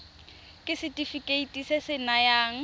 ke setefikeiti se se nayang